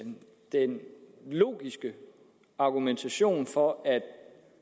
en logisk argumentation for at